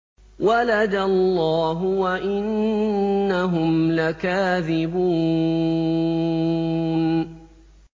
وَلَدَ اللَّهُ وَإِنَّهُمْ لَكَاذِبُونَ